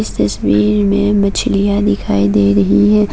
तस्वीर में मछलियां दिखाई दे रही हैं।